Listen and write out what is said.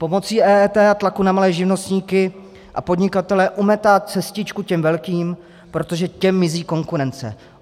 Pomocí EET a tlaku na malé živnostníky a podnikatele umetá cestičku těm velkým, protože těm mizí konkurence.